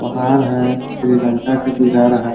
पहाड़ है श्रीलंका का बुझा रहा --